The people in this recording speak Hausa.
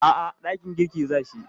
A'a, dakin girki za shi.